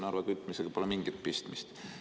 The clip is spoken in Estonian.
Narva kütmisega pole siin mingit pistmist.